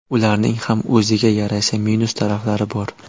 Ularning ham o‘ziga yarasha minus taraflari bor.